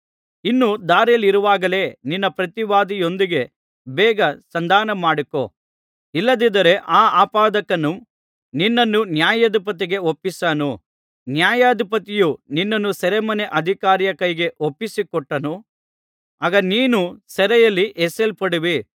ಇನ್ನೂ ದಾರಿಯಲ್ಲಿರುವಾಗಲೇ ನಿನ್ನ ಪ್ರತಿವಾದಿಯೊಂದಿಗೆ ಬೇಗ ಸಂಧಾನ ಮಾಡಿಕೋ ಇಲ್ಲದಿದ್ದರೆ ಆ ಆಪಾದಕನು ನಿನ್ನನ್ನು ನ್ಯಾಯಾಧಿಪತಿಗೆ ಒಪ್ಪಿಸಾನು ನ್ಯಾಯಾಧಿಪತಿಯು ನಿನ್ನನ್ನು ಸೆರೆಮನೆ ಅಧಿಕಾರಿಯ ಕೈಗೆ ಒಪ್ಪಿಸಿಕೊಟ್ಟಾನು ಆಗ ನೀನು ಸೆರೆಯಲ್ಲಿ ಎಸೆಯಲ್ಪಡುವಿ